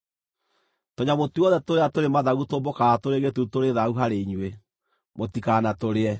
Tũnyamũ tuothe tũrĩa tũrĩ mathagu tũmbũkaga tũrĩ gĩtutu tũrĩ thaahu harĩ inyuĩ, mũtikanatũrĩe.